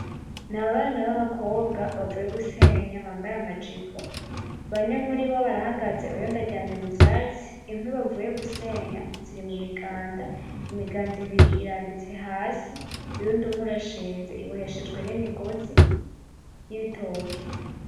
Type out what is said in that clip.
N’abana babakobwa bavuye gusenya bambaye amajipo bane muribo barahagaze uyundi aryamye mu vyatsi inkwi bavuye gusenya ziri mu miganda, imiganda ibiri irambitse hasi uyundi umwe urashinze uboheshejwe n’imigozi y’ibitoki.